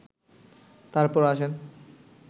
তারপর আসেন